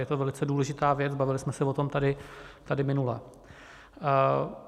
Je to velice důležitá věc, bavili jsme se o tom tady minule.